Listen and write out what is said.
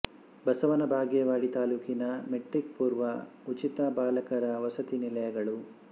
ಬಸವನ ಬಾಗೇವಾಡಿ ತಾಲ್ಲೂಕಿನ ಮೆಟ್ರಿಕ್ ಪೂರ್ವ ಉಚಿತ ಬಾಲಕರ ವಸತಿ ನಿಲಯಗಳು